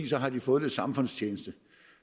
så har de fået lidt samfundstjeneste